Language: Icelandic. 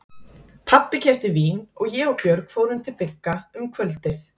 Pabbi keypti vín og ég og Björg fórum til Bigga um kvöldið.